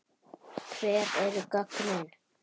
Hver eru gögnin?